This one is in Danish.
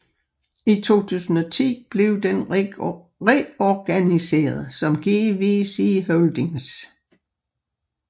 I 2010 blev den reorganiseret som GVC Holdings